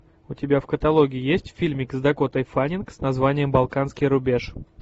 у тебя в каталоге есть фильмик с дакотой фаннинг с названием балканский рубеж